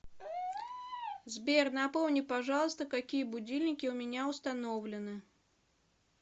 сбер напомни пожалуйста какие будильники у меня установлены